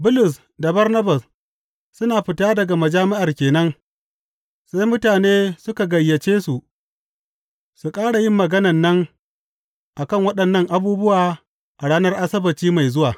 Bulus da Barnabas suna fita daga majami’ar ke nan, sai mutane suka gayyace su su ƙara yin maganan nan a kan waɗannan abubuwa a ranar Asabbaci mai zuwa.